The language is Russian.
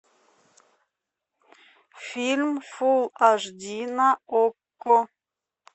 фильм фул аш ди на окко